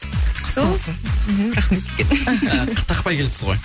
құтты болсын мхм рахмет үлкен і тақпай келіпсіз ғой